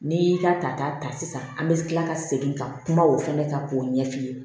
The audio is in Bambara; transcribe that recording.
N'i y'i ka tata ta sisan an bɛ kila ka segin ka kuma o fana kan k'o ɲɛf'i ye